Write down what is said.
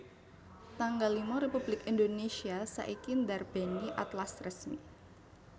tanggal lima Republik Indonesia saiki ndarbèni Atlas Resmi